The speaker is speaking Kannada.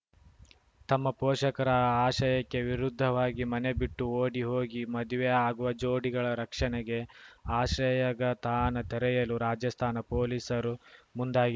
ತಮ್ಮ ಪೋಷಕರ ಆಶಯಕ್ಕೆ ವಿರುದ್ಧವಾಗಿ ಮನೆಬಿಟ್ಟು ಓಡಿ ಹೋಗಿ ಮದುವೆ ಆಗುವ ಜೋಡಿಗಳ ರಕ್ಷಣೆಗೆ ಆಶ್ರಯಗತಾಣ ತೆರೆಯಲು ರಾಜಸ್ಥಾನ ಪೊಲೀಸರು ಮುಂದಾಗಿ